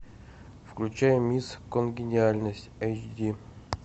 включай мисс конгениальность эйч ди